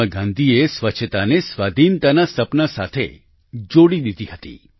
મહાત્મા ગાંધીએ સ્વચ્છતાને સ્વાધિનતાના સપના સાથે જોડી દીધી હતી